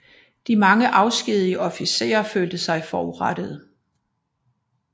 De mange afskedigede officerer følte sig forurettede